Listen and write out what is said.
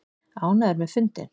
Ánægður með fundinn